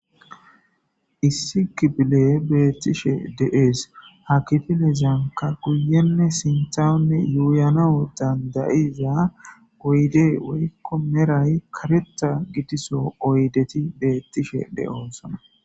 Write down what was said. Issi kipile beettishe deees ha kifilezanka guyenne sinthanne yuuyanao dandayiza oyde woykko meray kareta gitiso oydeti beettishe de7onsona